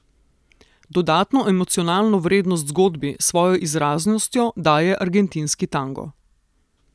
Dodatno emocionalno vrednost zgodbi s svojo izraznostjo daje argentinski tango.